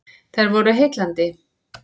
Þær voru heillandi.